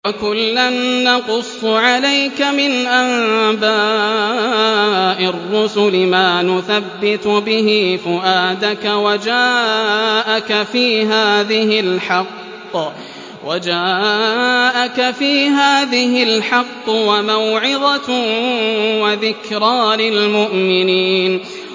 وَكُلًّا نَّقُصُّ عَلَيْكَ مِنْ أَنبَاءِ الرُّسُلِ مَا نُثَبِّتُ بِهِ فُؤَادَكَ ۚ وَجَاءَكَ فِي هَٰذِهِ الْحَقُّ وَمَوْعِظَةٌ وَذِكْرَىٰ لِلْمُؤْمِنِينَ